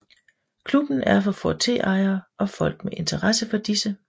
Klubben er for Ford T ejere og folk med interesse for disse